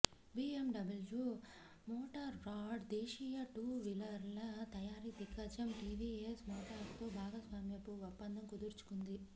BMW Motorrad దేశీయ two వీలర్ల తయారీ దిగ్గజం టీవీఎస్ మోటార్స్తో భాగస్వామ్యపు ఒప్పందం కుదుర్చుకుంది